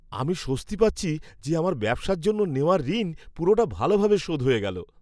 আমি স্বস্তি পাচ্ছি যে আমার ব্যবসার জন্য নেওয়া ঋণ পুরোটা ভালোভাবে শোধ হয়ে গেল।